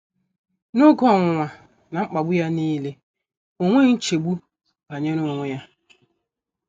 N’oge ọnwụnwa na mkpagbu ya nile, o nweghị nchegbu banyere onwe ya.